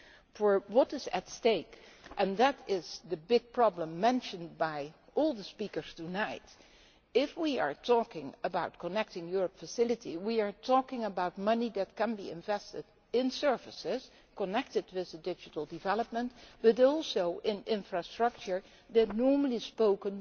For what is at stake and that is the big problem mentioned by all the speakers tonight if we are talking about the Connecting Europe Facility we are talking about money that can be invested in services connected to this digital development but also in infrastructure that would not, normally speaking,